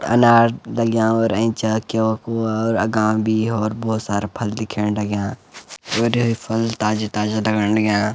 अनार डल्याँ और ऐंचा केला-कुला और अगाम भी होर बहौत सारा फल दिखेंण लग्याँ और फल ताजा-ताजा लगन लग्याँ।